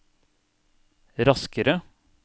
raskere